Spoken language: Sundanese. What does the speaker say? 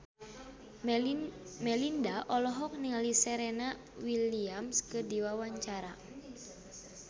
Melinda olohok ningali Serena Williams keur diwawancara